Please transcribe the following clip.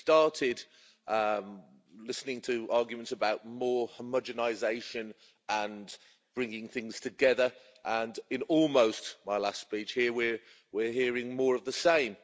We started listening to arguments about more homogenisation and bringing things together, and in almost my last speech here, we are hearing more of the same.